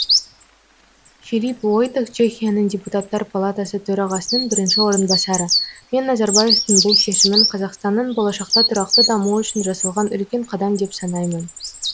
филип войтех чехияның депутаттар палатасы төрағасының бірінші орынбасары мен назарбаевтың бұл шешімін қазақстанның болашақта тұрақты дамуы үшін жасалған үлкен қадам деп санаймын